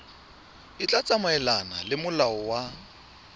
tla tsamaelana le molao wa